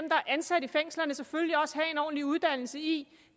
ansat i fængslerne selvfølgelig også have en ordentlig uddannelse i